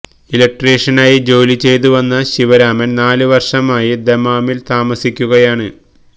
ഇലക്ട്രീഷനായി ജോലി ചെയ്തു വന്ന ശിവരാമന് നാല് വര്ഷമായി ദമ്മാമില് താമസിക്കുകയാണ്